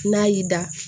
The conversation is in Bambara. N'a y'i da